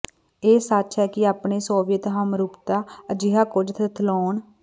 ਇਹ ਸੱਚ ਹੈ ਕਿ ਆਪਣੇ ਸੋਵੀਅਤ ਹਮਰੁਤਬਾ ਅਜਿਹਾ ਕੁਝ ਥਥਲਾਉਣ